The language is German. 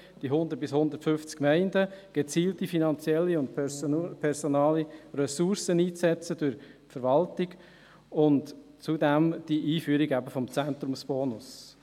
die 100 bis 150 Gemeinden, gezielte finanzielle und personelle Ressourcen durch die Verwaltung einsetzen und die Einführung des Zentrumsbonus.